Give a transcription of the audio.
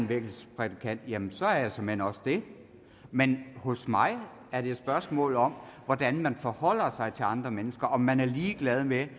vækkelsesprædikant jamen så er jeg såmænd også det men for mig er det spørgsmålet om hvordan man forholder sig til andre mennesker altså om man er ligeglad med